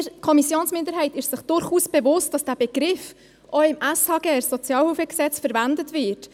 Die Kommissionsminderheit ist sich durchaus bewusst, dass der Begriff auch im SHG verwendet wird.